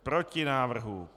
Proti návrhu.